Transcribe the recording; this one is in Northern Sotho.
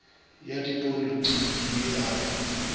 ya dipolitiki ye a e